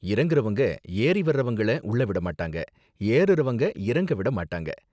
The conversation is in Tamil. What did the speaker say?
இறங்குறவங்க ஏறி வர்றவங்கள உள்ள விட மாட்டாங்க, ஏறுரவங்க இறங்க விட மாட்டாங்க.